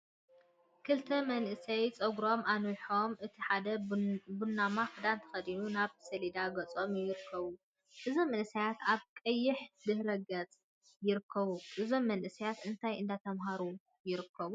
ክልተ መናእሰይ ፀጉሮም አንዊሖም እቲ ሓደ ቡናማ ክዳን ተከዲኑ ናብ ሰሌዳ ገፆም ይርከቡ፡፡ እዞም መናእሰይ አብ ቀይሕ ድሕረ ገፅ ይርከቡ፡፡ እዞም መናእሰይ እንታይ እንዳተምሃሩ ይርከቡ፡፡